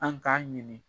An k'a ɲini